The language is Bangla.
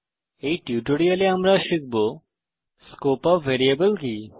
এই টিউটোরিয়ালে আমরা শিখব স্কোপ অফ ভ্যারিয়েবল কি